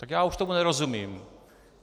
Tak já už tomu nerozumím.